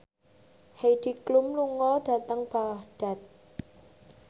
Heidi Klum lunga dhateng Baghdad